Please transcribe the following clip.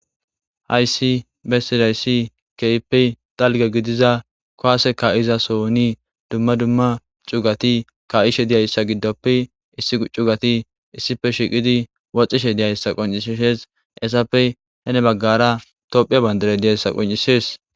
hayssi bessidayssi keype dalga gidiza kowaseka izasoni dumma dumma cugati ka7ishe diyayssa giddoppe issi u cugati issife shiqidi woxishe diyayssa qoncisshees essappe hene baggara tophiya bandare diyayssa qoncishees